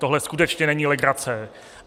Tohle skutečně není legrace.